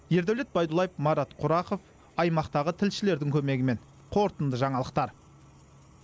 ердәулет байдуллаев марат құрақов аймақтағы тілшілердің көмегімен қорытынды жаңалықтар